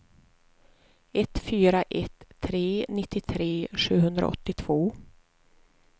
ett fyra ett tre nittiotre sjuhundraåttiotvå